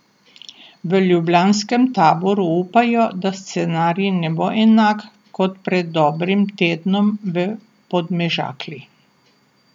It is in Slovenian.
V ljubljanskem taboru upajo, da scenarij ne bo enak kot pred dobrim tednom v Podmežakli.